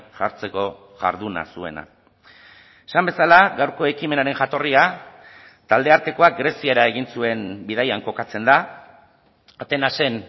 jartzeko jarduna zuena esan bezala gaurko ekimenaren jatorria taldeartekoa greziara egin zuen bidaian kokatzen da atenasen